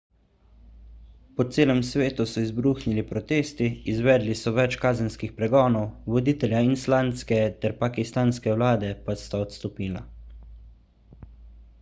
po celem svetu so izbruhnili protesti izvedli so več kazenskih pregonov voditelja islandske ter pakistanske vlade pa sta odstopila